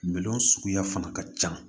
Minɛn suguya fana ka ca